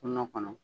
Kungo kɔnɔ